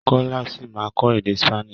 Kọ́lá ṣì ma kọ́ èdè Spanish.